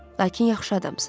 Lakin yaxşı adamsız.